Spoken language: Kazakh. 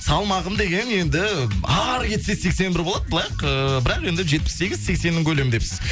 салмағым деген енді ары кетсе сексен бір болады ыыы бірақ енді жетпіс сегіз сексеннің көлемі депсіз